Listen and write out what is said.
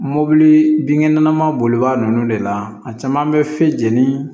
Mobili binkɛnɛma bolibaga ninnu de la a caman bɛ fe ni